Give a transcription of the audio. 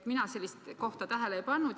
Mina sellist kohta tähele ei pannud.